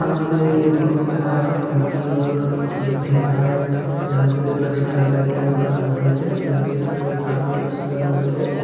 यहाँ पर बहुत सारा लड़की और महिलाये यहाँ पर बेथ के कर रही है योगा कर रही है जो की देखने मे काफी ज्यादा सुन्दर लग रही है।